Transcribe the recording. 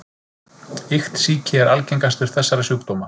Iktsýki er algengastur þessara sjúkdóma.